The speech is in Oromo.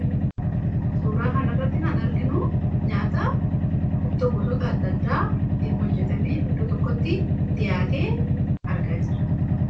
suuraa kan irratti kan arginu nyaata ittoo gosoota addaa addaa tiin hojjetame iddoo tokkotti dhiyaatee argaa jirra.